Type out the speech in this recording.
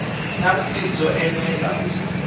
na vutivi byo enela ku